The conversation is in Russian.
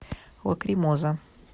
лакримоза